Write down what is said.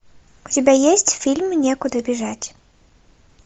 у тебя есть фильм некуда бежать